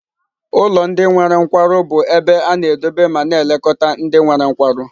Ụlọ ndị nwere nkwarụ bụ ebe a na-edobe ma na-elekọta ndị nwere nkwarụ.